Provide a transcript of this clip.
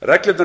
reglurnar